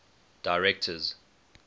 directors